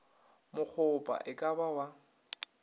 mokgopha e ka ba wa